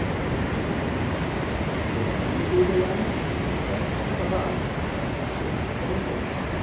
अवधार्यताम्! यदहं निवेदयामि तत् भवतः प्रक्षुब्धं करिष्यति।